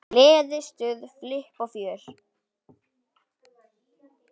Gleði, stuð, flipp og fjör.